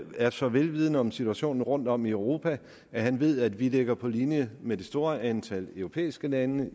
er så vidende om situationen rundtom i europa at han ved at vi ligger på linje med det store antal europæiske lande